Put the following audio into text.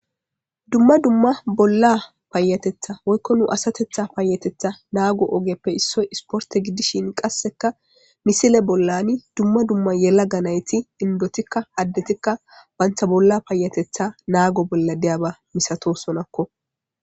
dumma dumma bolla paayatetha woykko nu asatetha paayatetha naago ogeppe issoy isporte gidishin qasseka misile bollani dumma dumma yela ga nayti indotikka haddetikka bantha bolla paayatetha naago bolla deyaba misato sonakko